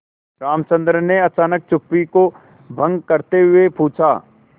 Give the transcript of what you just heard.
रामचंद्र ने अचानक चुप्पी को भंग करते हुए पूछा